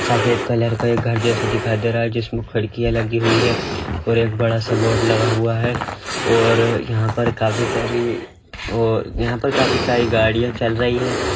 सफेद कलर का ये घर जैसा दिखाई दे रहा है जिसमें खिड़कियां लगी हुई है और एक बड़ा सा बोर्ड लगा हुआ है और यहाँ पे काफी सारी वो यहाँ पर काफी सारी गाड़ियां चल रही है।